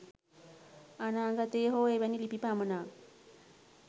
අනාගතයේ හෝ එවැනි ලිපි පමණක්